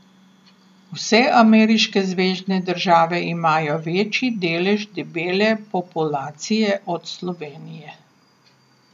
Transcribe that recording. Vse ameriške zvezne države imajo večji delež debele populacije od Slovenije.